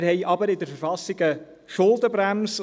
Wir haben aber in der Verfassung eine Schuldenbremse.